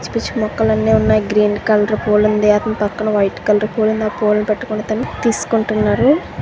పిచ్చి పిచ్చి మొక్కలన్నీ ఉన్నాయి గ్రీన్ కలర్ పూలు ఉన్నాయి అతని పక్కన వైట్ కలర్ పూలు ఉన్నాయి ఆ పూలని పట్టుకొని అతను తీసుకుంటున్నాడు.